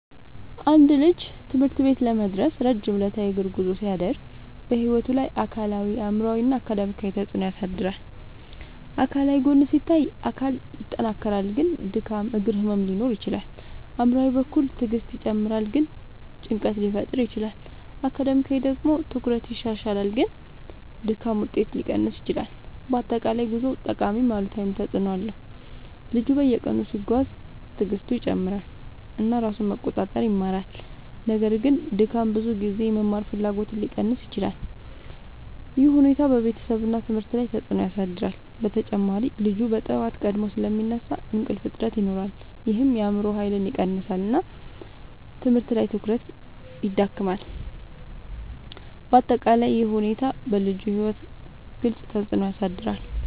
አንድ ልጅ ትምህርት ቤት ለመድረስ ረጅም ዕለታዊ የእግር ጉዞ ሲያደርግ በሕይወቱ ላይ አካላዊ አእምሯዊ እና አካዳሚያዊ ተፅዕኖ ያሳድራል። አካላዊ ጎን ሲታይ አካል ይጠናከራል ግን ድካም እግር ህመም ሊኖር ይችላል። አእምሯዊ በኩል ትዕግስት ይጨምራል ግን ጭንቀት ሊፈጠር ይችላል። አካዳሚያዊ ደግሞ ትኩረት ይሻሻላል ግን ድካም ውጤት ሊቀንስ ይችላል። በአጠቃላይ ጉዞው ጠቃሚም አሉታዊም ተፅዕኖ አለው። ልጁ በየቀኑ ሲጓዝ ትዕግስቱ ይጨምራል እና ራሱን መቆጣጠር ይማራል። ነገር ግን ድካም ብዙ ጊዜ የመማር ፍላጎትን ሊቀንስ ይችላል። ይህ ሁኔታ በቤተሰብ እና ትምህርት ላይ ተጽዕኖ ያሳድራል። በተጨማሪ ልጁ በጠዋት ቀድሞ ስለሚነሳ እንቅልፍ እጥረት ይኖራል ይህም የአእምሮ ኃይልን ይቀንሳል እና ትምህርት ላይ ትኩረት ይዳክማል። በአጠቃላይ ይህ ሁኔታ በልጁ ሕይወት ግልጽ ተፅዕኖ ያሳድራል።